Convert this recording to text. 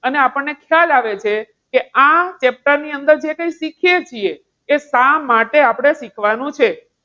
આને આપણને ખ્યાલ આવે છે કે આ chapter ની અંદર જે કંઈ શીખીએ છીએ એ શા માટે આપણે શીખવાનું છે.